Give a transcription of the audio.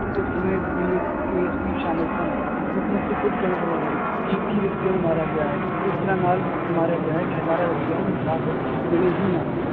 ਉਸ ਸਮੇ ਸ਼ਾਮਿਲ ਸਨ, ਮੁੱਖ ਮੰਤਰੀ ਖੁੱਦ ਕਹਿੰਦੇ ਰਹੇ ਹਨ, ਕਿ ਇੱਕੀ ਵਿਅਕਤੀਆਂ ਨੂੰ ਮਾਰਿਆ ਗਿਆ ਹੈ, ਇਸ ਤਰ੍ਹਾਂ ਨਾਲ ਮਾਰਿਆ ਗਿਆ ਹੈ ਕਿ ਹਜ਼ਾਰਾਂ ਵਿਅਕਤੀਆਂ ਨੂੰ ਇਨਸਾਫ਼ ਮਿਲੇ ਹੀ ਨਾ